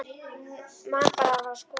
Man bara að hann var að skoða þá.